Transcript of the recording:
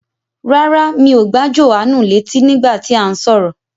Rárá, mi ò gbà Jòhánù létí nígbà tí à ń sọ̀rọ̀